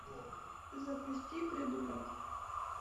запусти придурок